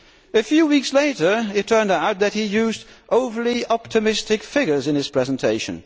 A few weeks later it turned out that he had used overly optimistic figures in his presentation.